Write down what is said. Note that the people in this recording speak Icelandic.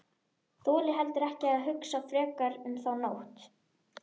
Þoli heldur ekki að hugsa frekar um þá nótt.